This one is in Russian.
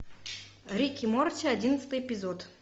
рик и морти одиннадцатый эпизод